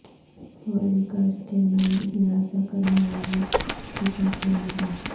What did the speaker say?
فوری قرض کے نام ہراساں کرنے والا ریاکٹ بے نقاب